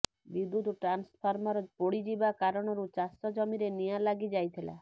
ବିଦ୍ୟୁତ ଟାନ୍ସଫର୍ମର ପୋଡିଯିବା କାରଣରୁ ଚାଷ ଜମିରେ ନିଆଁ ଲାଗି ଯାଇଥିଲା